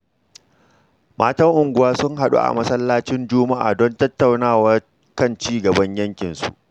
Matan unguwa sun haɗu a Masallacin Juma’a don tattaunawa kan ci gaban yankinsu.